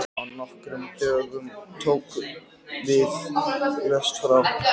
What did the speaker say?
Á nokkrum dögum tókum við lest frá